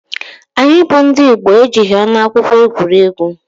Anyị bụ ndị Igbo ejighị ọgwụ akwụkwọ egwuri egwu.